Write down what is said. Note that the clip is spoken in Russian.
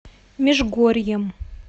межгорьем